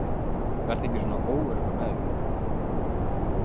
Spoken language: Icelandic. Góði, vertu ekki svona óöruggur með þig.